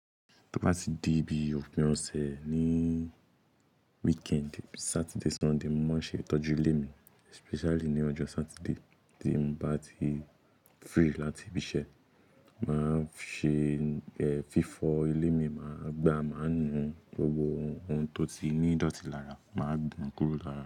Tí mo bá ti di bí òpin ọ̀sẹ̀ ni weekend Saturday, Sunday, mo máa ń ṣe ìtọ́jú ilé mi especially ní ọjọ́ Saturday tí mo bá ti free láti ibi iṣẹ́. Máa ṣe, ẹ́, fífọ̀ ilé mi, màá gbàá, màá nu gbogbo ohun tó ti ní ìdọ̀tí lára, màá gbọn kúrò lára.